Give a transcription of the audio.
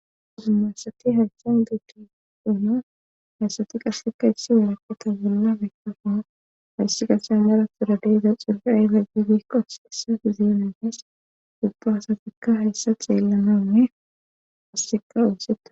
uzu masati hayssen degi geono haysati qasseka issi weraketa golla bekafana hayssi qasa maratura deeza xurra ayla giidikkos issa ziemennees duppa asatikka hayssa xeellanawunne asseka unseta